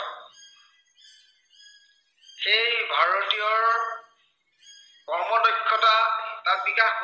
সেয়ে ভাৰতীয়ৰ কৰ্মদক্ষতা তাত বিকাশ